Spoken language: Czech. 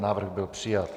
Návrh byl přijat.